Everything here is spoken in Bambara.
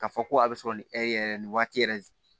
K'a fɔ ko a bɛ sɔrɔ nin yɛrɛ nin waati yɛrɛ